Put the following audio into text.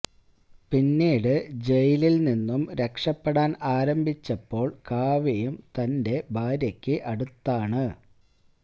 പിന്നീട് ജയിലിൽ നിന്നും രക്ഷപ്പെടാൻ ആരംഭിച്ചപ്പോൾ കാവയും തന്റെ ഭാര്യക്ക് അടുത്താണ്